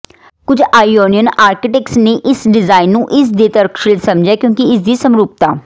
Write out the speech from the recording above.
ਕੁਝ Ionian architects ਨੇ ਇਸ ਡਿਜ਼ਾਇਨ ਨੂੰ ਇਸਦੇ ਤਰਕਸ਼ੀਲ ਸਮਝਿਆ ਕਿਉਂਕਿ ਇਸਦੀ ਸਮਰੂਪਤਾ